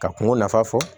Ka kungo nafa fɔ